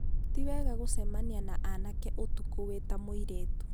tiwega gũcemania na aanake ũtukũ wĩ ta mũirĩtu